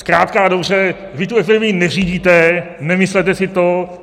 Zkrátka a dobře, vy tu epidemii neřídíte, nemyslete si to.